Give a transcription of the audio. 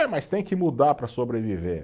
É, mas tem que mudar para sobreviver.